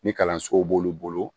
Ni kalansow b'olu bolo